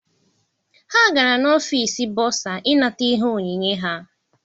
Ha gara n'ọfịịsi bọsa I nata ihe onyinye ha.